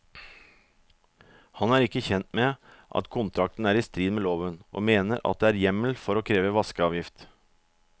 Han er ikke kjent med at kontrakten er i strid med loven, og mener at det er hjemmel for å kreve vaskeavgift.